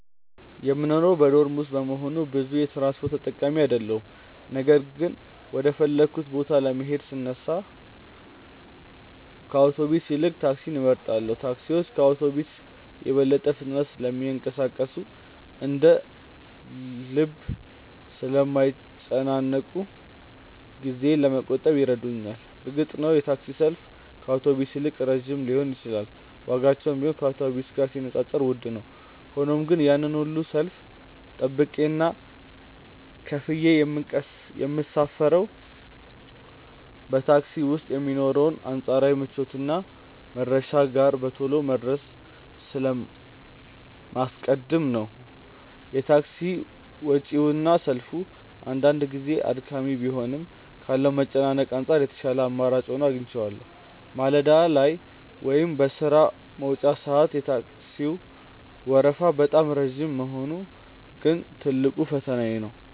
የምኖረው በዶርም ውስጥ በመሆኑ ብዙ የትራንስፖርት ተጠቃሚ አይደለሁም ነገር ግን ወደ ፈለግኩበት ቦታ ለመሄድ ስነሳ ከአውቶቡስ ይልቅ ታክሲን እመርጣለሁ። ታክሲዎች ከአውቶቡስ በበለጠ ፍጥነት ስለሚንቀሳቀሱና እንደ ልብ ስለማይጨናነቁ ጊዜዬን ለመቆጠብ ይረዱኛል። እርግጥ ነው የታክሲ ሰልፍ ከአውቶቡስ ይልቅ ረጅም ሊሆን ይችላል ዋጋቸውም ቢሆን ከአውቶቡስ ጋር ሲነጻጸር ውድ ነው። ሆኖም ግን ያንን ሁሉ ሰልፍ ጠብቄና ከፍዬ የምሳፈረው በታክሲ ውስጥ የሚኖረውን አንጻራዊ ምቾትና መድረሻዬ ጋር በቶሎ መድረስን ስለማስቀድም ነው። የታክሲ ወጪውና ሰልፉ አንዳንድ ጊዜ አድካሚ ቢሆንም ካለው መጨናነቅ አንጻር የተሻለ አማራጭ ሆኖ አገኘዋለሁ። ማለዳ ላይ ወይም በሥራ መውጫ ሰዓት የታክሲው ወረፋ በጣም ረጅም መሆኑ ግን ትልቁ ፈተናዬ ነው።